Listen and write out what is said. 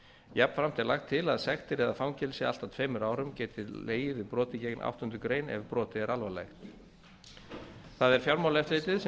jafnframt er lagt til að sektir eða fangelsi allt að tveimur árum geti legið við broti gegn áttundu grein ef brotið er alvarlegt það er fjármálaeftirlitið sem